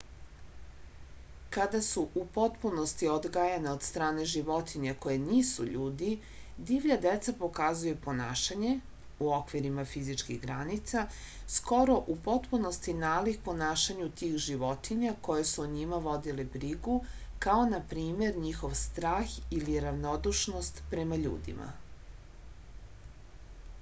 када су у потпуности одгајена од стране животиња које нису људи дивља деца показују понашање у оквирима физичких граница скоро у потпуности налик понашању тих животиња које су о њима водиле бригу као на пример њихов страх или равнодушност према људима